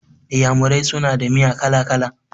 Iyamurai suna da miya kala-kala.